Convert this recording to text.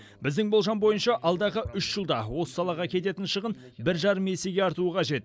біздің болжам бойынша алдағы үш жылда осы салаға кететін шығын бір жарым есеге артуы қажет